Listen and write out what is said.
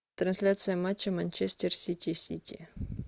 трансляция матча манчестер сити сити